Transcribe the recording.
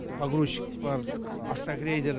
погрузчик бар автогрейдер